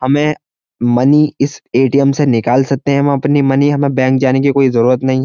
हमें मनी इस एटीएम से निकाल सकते हैं हम अपनी मनी हमें बैंक जाने की कोई जरूरत नहीं है।